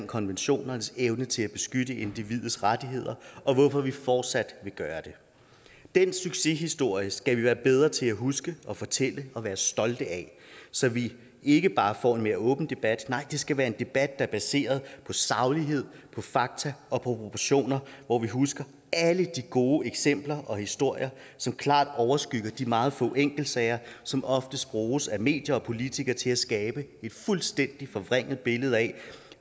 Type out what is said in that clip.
konventionernes evne til at beskytte individets rettigheder og hvorfor vi fortsat vil gøre det den succeshistorie skal vi være bedre til at huske og fortælle og være stolte af så vi ikke bare får en mere åben debat nej det skal være en debat er baseret på saglighed på fakta og på proportioner hvor vi husker alle de gode eksempler og historier som klart overskygger de meget få enkeltsager som oftest bruges af medier og politikere til at skabe et fuldstændig forvrænget billede af